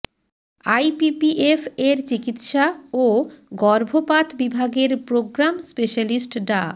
IPPF এর চিকিৎসা ও গর্ভপাত বিভাগের প্রোগ্রাম স্পেশালিস্ট ডা